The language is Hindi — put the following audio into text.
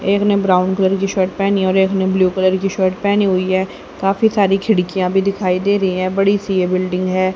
एक ने ब्राउन कलर की शर्ट पहनी और एक ने ब्लू कलर की शर्ट पहनी हुई है काफी सारी खिड़कियां भी दिखाई दे रही हैं बड़ी सी ये बिल्डिंग है।